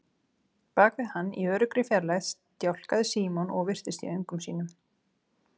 Bak við hann, í öruggri fjarlægð, stjáklaði Símon og virtist í öngum sínum.